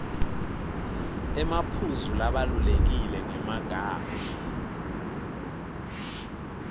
emaphuzu labalulekile ngemagama